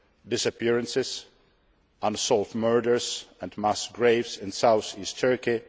disappearances, unsolved murders and mass graves in South East Turkey.